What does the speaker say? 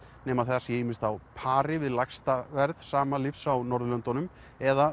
nema það sé ýmist á pari við lægsta verð sama lyfs á Norðurlöndunum eða